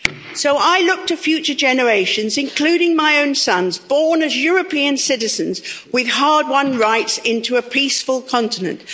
So I look to future generations, including my own sons, born as European citizens, with hard won rights, into a peaceful continent.